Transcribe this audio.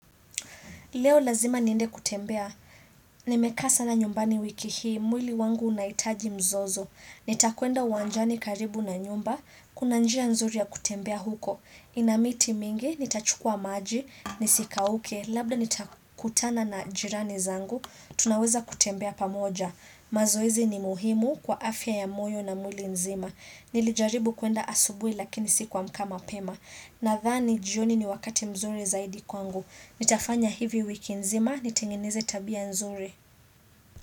Leo lazima niende kutembea, nimekasa na nyumbani wiki hii, mwili wangu unahitaji mzozo, nitakwenda uwanjani karibu na nyumba, kuna njia nzuri ya kutembea huko, inamiti mingi, nitachukua maji, nisikauke, labda nitakutana na jirani zangu, tunaweza kutembea pamoja, mazoezi ni muhimu kwa afya ya moyo na mwili nzima, nilijaribu kuenda asubuhi lakini sikuamka mapema, nathani jioni ni wakati mzuri zaidi kwangu, Nitafanya hivi wiki nzima, nitengineze tabia nzuri.